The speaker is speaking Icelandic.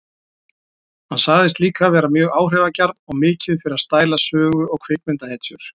Hann sagðist líka vera mjög áhrifagjarn og mikið fyrir að stæla sögu- og kvikmyndahetjur.